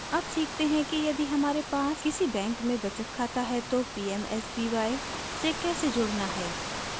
अब सीखते हैं कि यदि हमारे पास किसी बैंक में बचत खाता है तो pmsby से कैसे जुड़ना है